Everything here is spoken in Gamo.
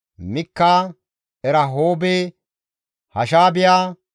Mikka, Erahoobe, Hashaabiya,